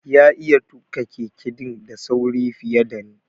Ya iya tuka Keke din da sauri fiye da ni.